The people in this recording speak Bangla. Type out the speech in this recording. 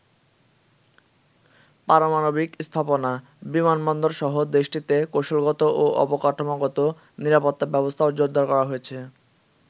পারমাণবিক স্থাপনা, বিমানবন্দর সহ দেশটিতে কৌশলগত ও অবকাঠামোগত নিরাপত্তা ব্যবস্থাও জোরদার করা হয়েছে।